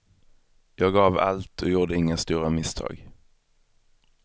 Jag gav allt och gjorde inga stora misstag.